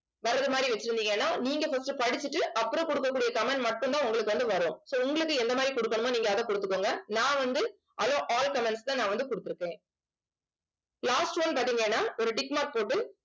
வர்றது மாதிரி வச்சிருந்தீங்கன்னா நீங்க first உ படிச்சுட்டு approve கொடுக்கக் கூடிய comment மட்டும்தான் உங்களுக்கு வந்து வரும் so உங்களுக்கு எந்த மாதிரி கொடுக்கணுமோ நீங்க அதை கொடுத்துக்கோங்க நான் வந்து allow all comments ல நான் வந்து கொடுத்திருக்கேன் last one பார்த்தீங்கன்னா ஒரு tick mark போட்டு